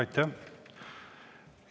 Aitäh!